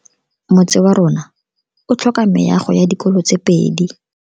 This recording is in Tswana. Motse warona o tlhoka meago ya dikolo tse pedi.